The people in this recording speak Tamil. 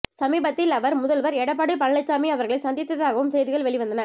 சமீபத்தில் அவர் முதல்வர் எடப்பாடி பழனிச்சாமி அவர்களை சந்தித்ததாகவும் செய்திகள் வெளிவந்தன